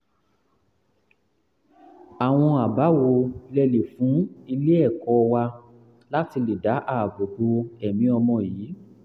àwọn àbá wo lẹ lè fún ilé-ẹ̀kọ́ wa láti lè dá ààbò bo ẹ̀mí ọmọ yìí?